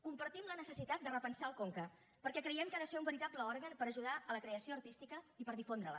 compartim la necessitat de repensar el conca perquè creiem que ha de ser un veritable òrgan per ajudar la creació artística i per difondre la